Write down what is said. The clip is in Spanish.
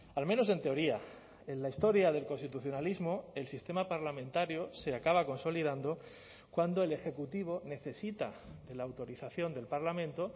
al menos en teoría en la historia del constitucionalismo el sistema parlamentario se acaba consolidando cuando el ejecutivo necesita de la autorización del parlamento